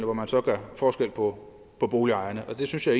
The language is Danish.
hvor man så gør forskel på boligejerne og det synes jeg